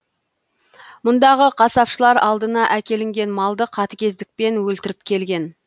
мұндағы қасапшылар алдына әкелінген малды қатігездікпен өлтіріп келген